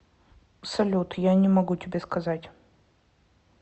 салют я не могу тебе сказать